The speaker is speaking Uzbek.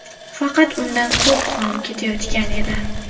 Faqat undan ko‘p qon ketayotgan edi.